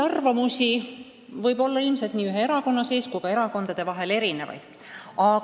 Arvamusi võib nii ühe erakonna sees kui ka erakondade vahel erinevaid olla.